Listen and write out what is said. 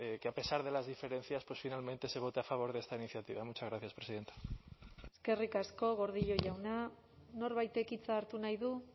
que a pesar de las diferencias pues finalmente se vote a favor de esta iniciativa muchas gracias presidenta eskerrik asko gordillo jauna norbaitek hitza hartu nahi du